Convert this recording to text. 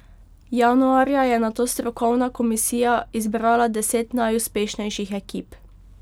Januarja je nato strokovna komisija izbrala deset najuspešnejših ekip.